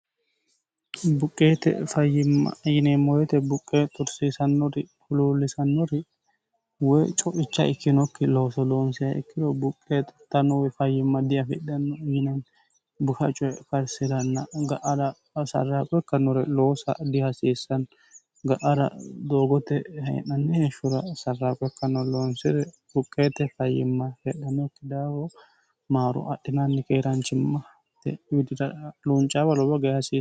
buqqeete fayyimma yineemmo woyte yote buqqee xursiisannori huluullisannori woy co'icha ikkinokki looso loonsiha ikkiro buqqee xurittanno fayyimma diafidhanno yinanni buha coye karsiranna ga'ara sarraaqo ikkannore loosa dihasiissanno ga'ara doogote hee'nanni heshshora sarraaqqo ikkanno loonsire buqqeete fayyimma hedhanokki daafo maaro adhinaanni keeraanchimma hate widira luuncaawa luunicaawa lowo geesha hasiissanno